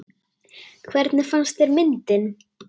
Hvernig fannst þér myndin?